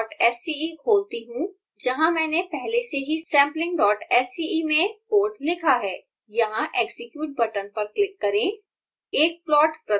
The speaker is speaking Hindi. मैं samplingsce खोलती हूँ जहाँ मैंने पहले से ही samplingsce में कोड लिखा है यहाँ execute बटन पर क्लिक करें